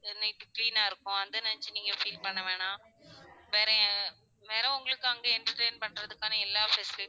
எல்லாம் இப்போ clean ஆ இருக்கும் அத நெனச்சி நீங்க feel பண்ண வேண்டாம் வேற வேற உங்களுக்கு அங்க entertainment பண்றதுக்கான எல்லா facilites